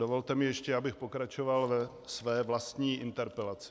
Dovolte mi ještě, abych pokračoval ve své vlastní interpelaci.